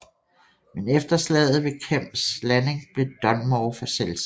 Men efter slaget ved Kemps Landing blev Dunmore for selvsikker